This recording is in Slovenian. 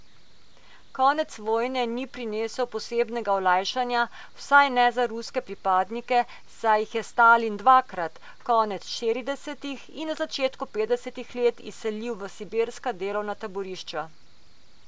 Konec vojne ni prinesel posebnega olajšanja, vsaj ne za ruske pripadnike, saj jih je Stalin dvakrat, konec štiridesetih in na začetku petdesetih let, izselil v sibirska delovna taborišča.